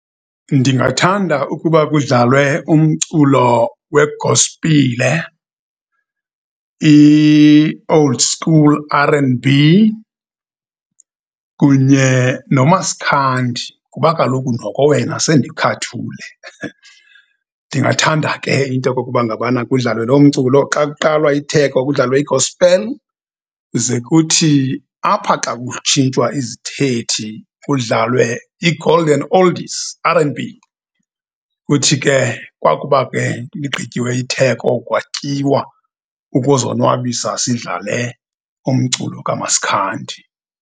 Ndingathanda ukuba kudlalwe umculo wegosipile, i-old school, R and B, kunye noMasikhandi, kuba kaloku noko wena sendikhathule. Ndingathanda ke into yokokuba ngabana kudlalwe lo mculo. Xa kuqalwa itheko, kudlalwe i-gospel zekuthi apha, xa kutshintshwa izithethi, kudlalwe iGolden Oldies, R and B. Kuthi ke kwakuba ke ligqityiwe itheko, kwatyiwa, ukuzonwabisa sidlale umculo kaMasikhandi.